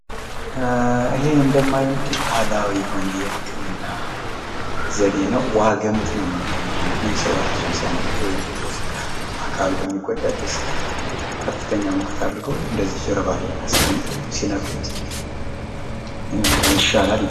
ይሄ እንደማየው እንግዲህ ባህላዊ የሆነ የህክምና ዘዴ ነው ። ዋግምት ነው እምንለው እኛ ሰው እራሱን ሲያመው ወይም የተወሰነ አካሉ በሚጎዳበት ሰዓት ከፍተኛ እንግዲህ ሙቀት አድርገው እንደዚ ጀርባ ላይ አስቀምጠው ሲነቅሉት ይሻላል ይባላል ።